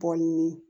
Bɔ ɲini